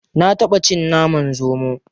Na taɓa cin naman zomo.